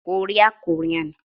Korea- Korean